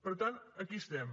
per tant aquí estem